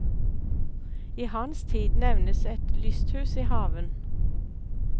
I hans tid nevnes et lysthus i haven.